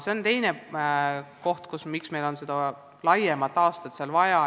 See on teine põhjus, miks meil on seda aastat vaja.